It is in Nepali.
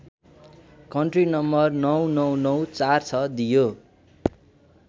कन्ट्री नं ९९९४६ दियो